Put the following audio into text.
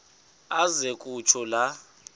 aze kutsho la